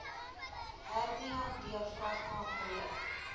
hernia diafragma breuk